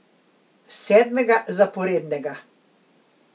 Sedmega zaporednega.